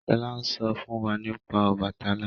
Shola n sọ fún wá nípa Obàtálá